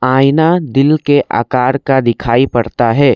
आइना दिल के आकार का दिखाई पड़ता है।